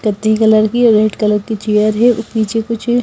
कत्थी कलर की red colour की चेयर है और पीछे कुछ--